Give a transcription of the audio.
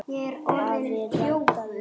Afi reddaði því.